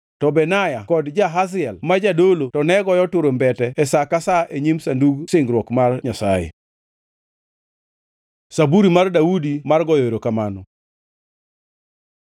to Benaya kod Jahaziel ma jodolo to ne goyo turumbete e sa ka sa e nyim sanduk singruok mar Nyasaye. Zaburi mar Daudi mar goyo erokamano